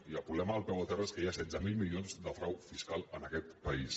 i el problema del peu a terra és que hi ha setze mil milions de frau fiscal en aquest país